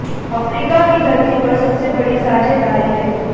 Africa की धरती पर सबसे बड़ी साझेदारी है